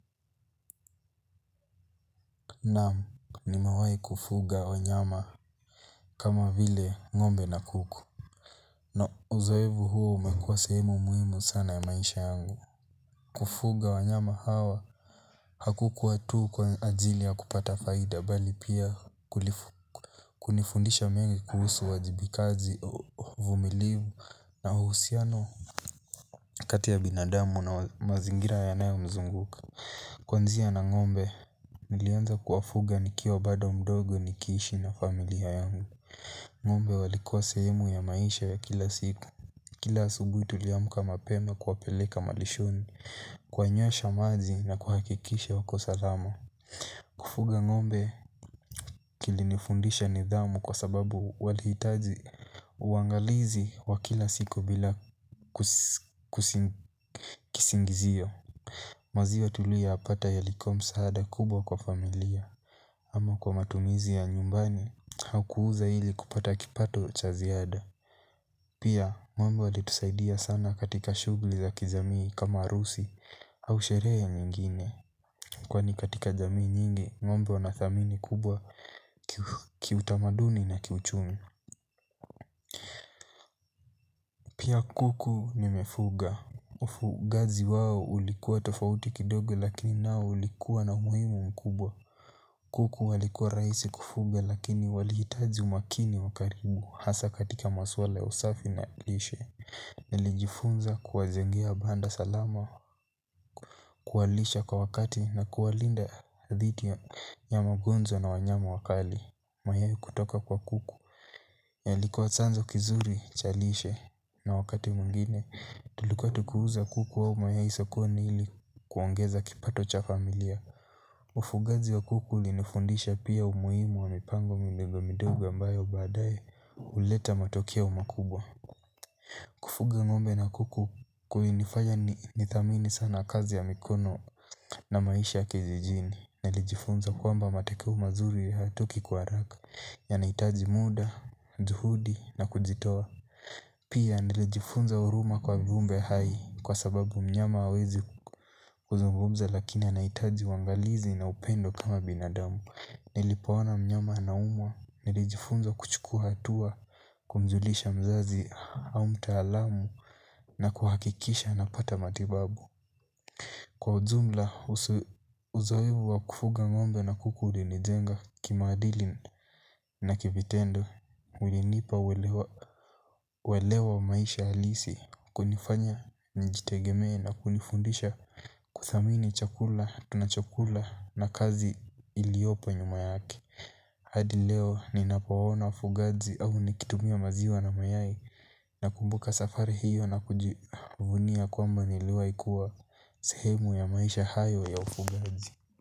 Naam nimewahi kufuga wanyama kama vile ngombe na kuku No uzoefu huo umekuwa sehemu muhimu sana ya maisha yangu. Kufuga wanyama hawa hakukua tu kwa ajili ya kupata faida bali pia kulifu kunifundisha mengi kuhusu uwajibikaji uvumilivu na uhusiano. Kati ya binadamu na mazingira yanayomzunguka. Kwanzia na ngombe, nilianza kuwafuga nikiwa bado mdogo nikiishi na familia yangu. Ngombe walikuwa sehemu ya maisha ya kila siku. Kila asubuhi tuliamka mapema kuwapeleka malishoni. Kuwanywesha maji na kuhakikisha wako salama. Kufuga ngombe kilinifundisha nidhamu kwa sababu walihitaji uangalizi wa kila siku bila kisingizio. Maziwa tuliyoyapata yalikuwa msaada kubwa kwa familia ama kwa matumizi ya nyumbani au kuuza ili kupata kipato cha ziada. Pia ngombe walitusaidia sana katika shughuli za kijamii kama harusi au sherehe nyingine. Kwani katika jamii nyingi ngombe wana dhamani kubwa kiutamaduni na kiuchumi. Pia kuku nimefuga. Ufugaji wao ulikuwa tofauti kidogo lakini nao ulikuwa na umuhimu mkubwa. Kuku walikuwa rahisi kufuga lakini walihitaji umakini wa karibu hasa katika maswala ya usafi na lishe. Nilijifunza kuwajengea banda salama kuwalisha kwa wakati na kuwalinda dhidi ya magonjwa na wanyama wakali mayai kutoka kwa kuku yalikuwa chanzo cha kizuri lishe na wakati mwingine tulikua tukiuza kuku au mayai sokoni ili kuongeza kipato cha familia. Ufugaji wa kuku ulinifundisha pia umuhimu wa mipango midogo midogo ambayo baadaye huleta matokeo makubwa kufuga ngombe na kuku kulinifanya nidhamini sana kazi ya mikono na maisha ya kijijini nilijifunza kuwa matokeo mazuri hayatoki kwa haraka yanahitaji muda juhudi na kujitoa pia nilijifunza huruma kwa viumbe hai kwa sababu mnyama hawezi kuzungumza lakina anahitaji uangalizi na upendo kama binadamu. Nilipoona mnyama anaumwa nilijifunza kuchukua hatua kumjulisha mzazi au mtaalamu na kuhakikisha anapata matibabu kwa ujumla uzoefu wa kufuga ngombe na kuku ulinijenga kimaadili na kivitendo ulinipa uelewa wa maisha halisi kunifanya nijitegemee na kunifundisha kudhamini chakula, tu na chakula na kazi iliyopo nyuma yake. Hadi leo ninapoona ufugaji au nikitumia maziwa na mayai nakumbuka safari hiyo na kujivunia kwamba niliwahikuwa sehemu ya maisha hayo ya ufugaji.